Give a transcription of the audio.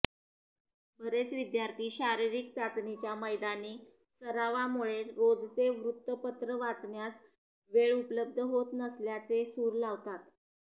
बरेच विद्यार्थी शारीरिक चाचणीच्या मैदानी सरावामुळे रोजचे वृत्तपत्र वाचण्यास वेळ उपलब्ध होत नसल्याचे सूर लावतात